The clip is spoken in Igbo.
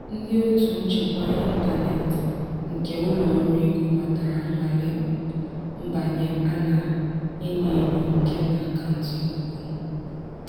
ndị otu nchekwa intaneti nke ụlọ ọrụ ego matara nnwale mbanye a na-enyo enyo nke n'akauntu ikuku m.